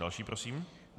Další prosím.